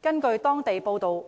根據當地報章報道，